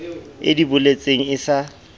e di boletseng e sa